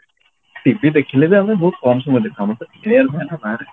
TV ଦେଖିଲେ ବି ଆମେ ବହୁତ କମ ସମୟ ଦେଖୁ ଆମର ତ game ହୁଏ ନା ବାହାରେ